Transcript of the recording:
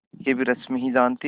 यह भी रश्मि ही जानती थी